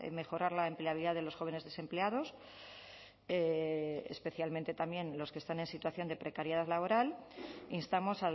mejorar la empleabilidad de los jóvenes desempleados especialmente también los que están en situación de precariedad laboral instamos